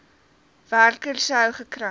werker sou gekry